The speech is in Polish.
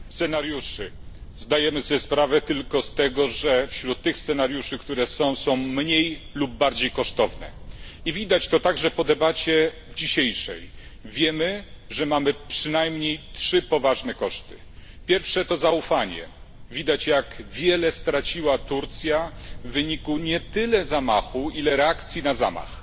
Panie Przewodniczący! Nie ma gotowych scenariuszy. Zdajemy sobie sprawę tylko z tego, że wśród tych scenariuszy, które są są mniej lub bardziej kosztowne. I widać to także po debacie dzisiejszej. Wiemy, że mamy przynajmniej trzy poważne koszty. Pierwszy to zaufanie widać jak wiele straciła Turcja w wyniku nie tyle zamachu, ile reakcji na zamach.